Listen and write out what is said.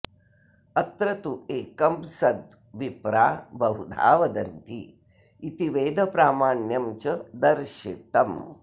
अत्र तु एकं सद् विप्रा बहुधा वदन्ति इति वेदप्रामाण्यं च दर्शितम्